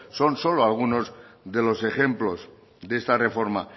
son solo algunos de los ejemplos de esta reforma